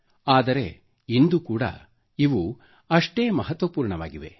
ಆದರೆ ಇಂದು ಕೂಡಾ ಇವು ಎಷ್ಟೊಂದು ಮಹತ್ವಪೂರ್ಣವಾಗಿವೆ